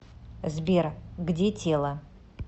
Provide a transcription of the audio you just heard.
сбер где тело